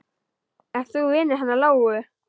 Ert þú vinur hennar Lóu?